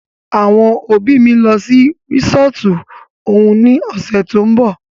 Àwọn òbí mí ń lọ sí resọ́ọ́tu òun ní ọ̀sẹ̀ tó ń bọ̀.